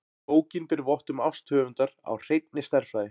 Bókin ber vott um ást höfundar á hreinni stærðfræði.